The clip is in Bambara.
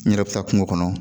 N yɛrɛ bɛ taa kungo kɔnɔ